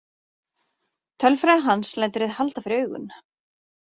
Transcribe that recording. Tölfræði hans lætur þig halda fyrir augun.